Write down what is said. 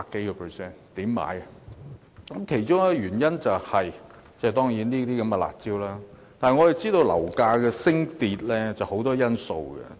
樓價上升，其中一個原因當然是這些"辣招"，但我們知道樓價升跌受很多因素影響。